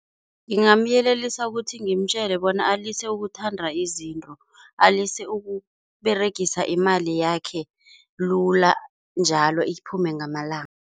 Ngingamyelelisa ukuthi ngimtjele bona alise ukuthanda izinto, alise ukuberegisa imali yakhe lula njalo iphume ngamalanga.